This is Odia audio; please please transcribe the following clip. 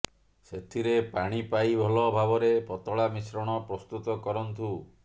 ସେଥିରେ ପାଣି ପାଇ ଭଲ ଭାବରେ ପତଳା ମିଶ୍ରଣ ପ୍ରସ୍ତୁତ କରନ୍ତୁ